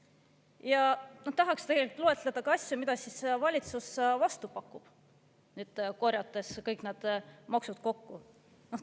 Ja tahaks tegelikult loetleda ka asju, mida siis valitsus vastu pakub, korjates kõik need maksud kokku.